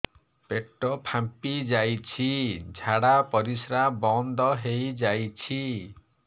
ପେଟ ଫାମ୍ପି ଯାଇଛି ଝାଡ଼ା ପରିସ୍ରା ବନ୍ଦ ହେଇଯାଇଛି